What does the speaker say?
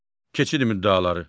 Keçid müddəaları.